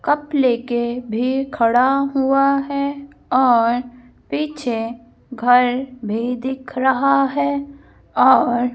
cup लेके भी खड़ा हुआ है और पीछे घर भी दिख रहा है और--